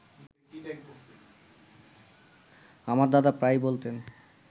আমার দাদা প্রায়ই বলতেন